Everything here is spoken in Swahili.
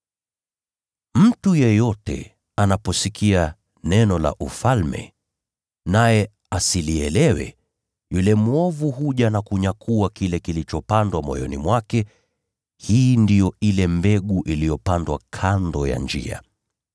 Mtu yeyote anaposikia neno la Ufalme naye asilielewe, yule mwovu huja na kunyakua kile kilichopandwa moyoni mwake. Hii ndiyo ile mbegu iliyopandwa kando ya njia.